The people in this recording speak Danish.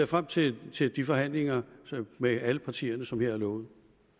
frem til til de forhandlinger med alle partierne som her er lovet